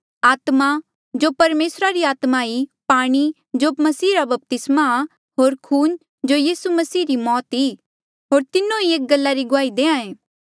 आत्मा जो परमेसरा री आत्मा ई पाणी जो मसीहा रा बपतिस्मा होर खून जो यीसू मसीह री मौत ई होर तीन्हो एक ई गला री गुआही देहां ऐें